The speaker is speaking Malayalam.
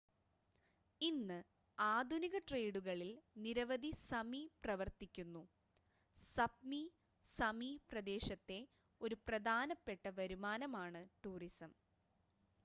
ഇന്ന് ആധുനിക ട്രേഡുകളിൽ നിരവധി സമി പ്രവർത്തിക്കുന്നു സപ്‌മി സമി പ്രദേശത്തെ ഒരു പ്രധാനപ്പെട്ട വരുമാനമാണ് ടൂറിസം